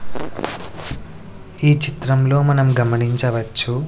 ఈ చిత్రంలో మనం గమనించవచ్చు--